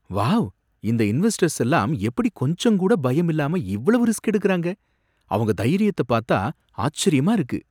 Wow! இந்த investors எல்லாம் எப்படி கொஞ்சங்கூட பயமில்லாம இவ்வளவு ரிஸ்க் எடுக்கறாங்க! அவங்க தைரியத்தப் பாத்தா ஆச்சரியமா இருக்கு.